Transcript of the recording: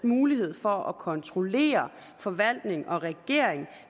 muligheden for at kontrollere forvaltning og regering